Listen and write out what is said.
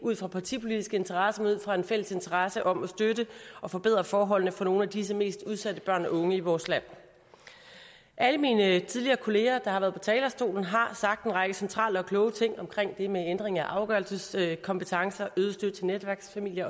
ud fra partipolitiske interesser men ud fra en fælles interesse om at støtte og forbedre forholdene for nogle af disse mest udsatte børn og unge i vores land alle mine kollegaer der tidligere har været på talerstolen har sagt en række centrale og kloge ting om det med ændringen af afgørelseskompetence øget støtte til netværksfamilier